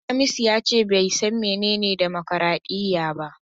Hamisu yace bai san menene dimokradiyya ba.